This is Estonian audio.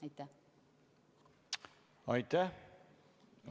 Aitäh!